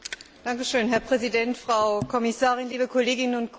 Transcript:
Herr Präsident, Frau Kommissarin, liebe Kolleginnen und Kollegen!